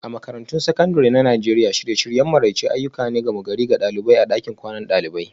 A Makarantun Sakandare na Najeriya, shirye-shiryen maraice ayyuka ne na gama-gari ga ɗalibai a ɗakin kwanan dalibai